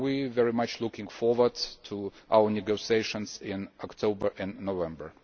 We very much look forward to our negotiations in October and November.